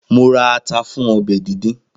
Mo ra tómátì fún ọbẹ̀ díndín.